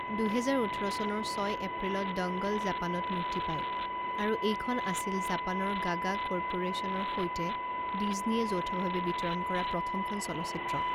দুহেজাৰ ওঠৰ চনৰ ছয় এপ্ৰিলত ডংগল জাপানত মুক্তি পায় আৰু এইখন আছিল জাপানৰ গাগা কৰ্পৰেশ্যনৰ সৈতে ডিজনীয়ে যৌথভাৱে বিতৰণ কৰা প্ৰথমখন চলচ্চিত্ৰ।